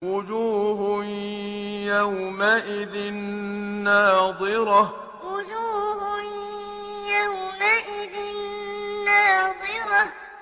وُجُوهٌ يَوْمَئِذٍ نَّاضِرَةٌ وُجُوهٌ يَوْمَئِذٍ نَّاضِرَةٌ